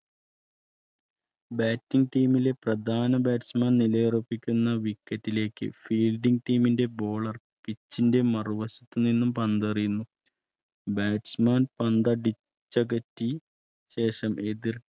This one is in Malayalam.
Bating team ലെപ്രധാന നിലയുറപ്പിക്കുന്ന wicket ലേക്ക് Fielding team ന്റെ Bowler പിച്ചിന്റെമറുവശത്തു നിന്നും പന്തേറിയുന്നു. Batchman പന്ത് അടിച്ച് അകറ്റി ശേഷം